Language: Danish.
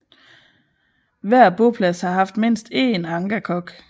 Hver boplads har haft mindst én angakok